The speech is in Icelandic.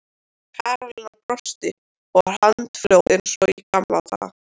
Karólína brosti og var handfljót eins og í gamla daga.